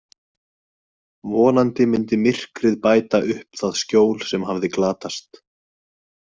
Vonandi myndi myrkrið bæta upp það skjól sem hafði glatast.